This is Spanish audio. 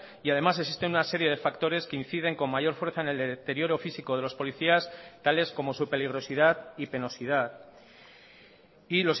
y además existen una serie de factores que inciden con mayor fuerza en el deterioro físico de los policías tales como su peligrosidad y penosidad y